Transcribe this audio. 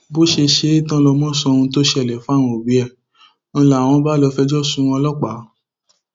bó ṣe ṣe é tán lọmọ sọ ohun tó ṣẹlẹ fáwọn òbí ẹ ń láwọn bá lọọ fẹjọ sun ọlọpàá